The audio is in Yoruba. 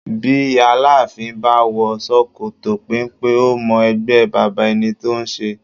Bí Aláàfin bá wò ṣòkòtò penpe, ó mọ ẹgbẹ́ baba ẹni tó ń ṣe